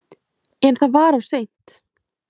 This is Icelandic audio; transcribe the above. En það var of seint.